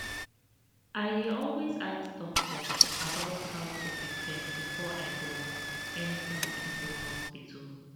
i dey always ask doctor about how to prepare before i born anytime i go hospital